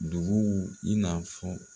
Duguw i na fɔ